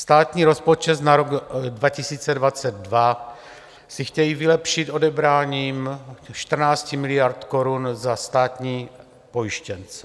Státní rozpočet na rok 2022 si chtějí vylepšit odebráním 14 miliard korun za státní pojištěnce.